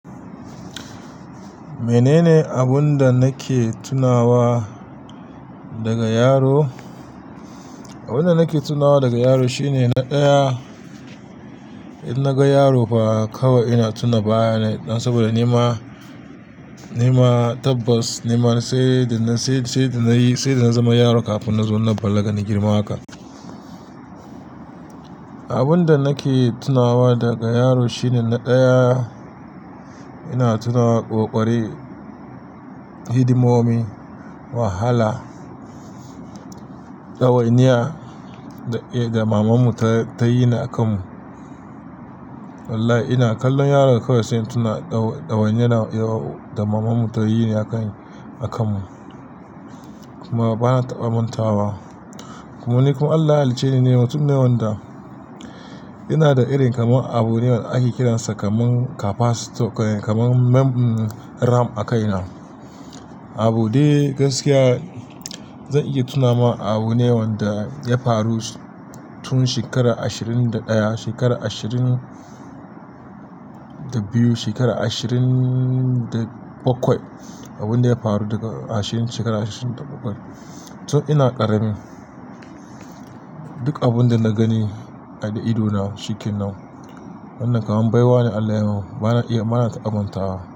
Menene abun da nake tunawa daga yaro? Abun da nake tunawa daga yaro shine na ɗaya in naga yaro fa kawai ina tuna baya ne saboda nima, nima tabbas nima sai da, sai da nayi, sai da na zama yaro kafin na zo na balaga na girma haka. Abun da nake tunawa daga yaro shine na ɗaya ina tuna ƙoƙari, hidimomi, wahala, ɗawainiya da mamanmu ta yi ne a kanmu. Wallahi ina kallon yaro kawai sai ina tuna ɗawainiyar da mamanmu ta yi a kan, a kanmu. Kuma bana taɓa manta wa. Kuma ni kuma Allah ya halicceni ne mutum ne wanda ina da irin kamar abun ne wanda ake kiransa kamar capacitor, kamar mem ram a kaina. Abu dai gaskiya zan iya tuna ma abu Ne wanda ya faru tun shekara ashirin da ɗaya, shekara ashirin da biyu, shekara ashirin da bakwai. Abun da ya faru daga ashirin shekara ashirin da bakwai. Tun ina ƙarami duk abun da na gani da idona shikenan nan. Wannan kamar baiwa ne Allah ya min. Bana iya, bana taɓa manta wa.